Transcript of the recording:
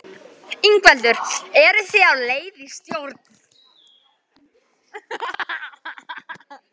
Ingveldur: Eru þið á leið í stjórn?